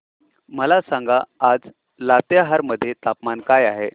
मला सांगा आज लातेहार मध्ये तापमान काय आहे